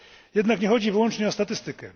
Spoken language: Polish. Jednak nie chodzi wyłącznie o statystykę.